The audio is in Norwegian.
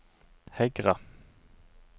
Hegra